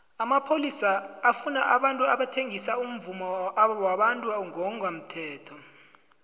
amapholisa afuna abantu abathengisa umvumo wabantu ngongemthetho